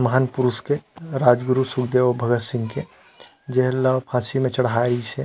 महान पुरुष के राज गुरु सुखदेव भगत सिंह के जेन ला फांसी म चढ़ाये गिस हे।